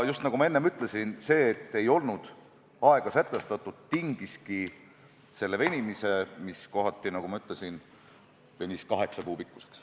Ja nagu ma enne ütlesin, see, et ei olnud aega sätestatud, tingiski selle venimise, mis kohati läks kaheksa kuu pikkuseks.